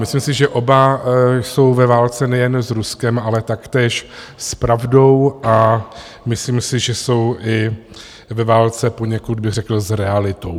Myslím si, že oba jsou ve válce nejen s Ruskem, ale taktéž s pravdou, a myslím si, že jsou i ve válce poněkud řekl bych s realitou.